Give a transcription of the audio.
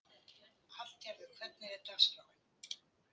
Hallgarður, hvernig er dagskráin?